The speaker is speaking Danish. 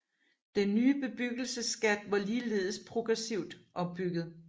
Den nye bebyggelsesskat var ligeledes progressivt opbygget